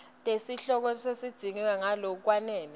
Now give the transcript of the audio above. tesihloko tidzingidvwe ngalokwanele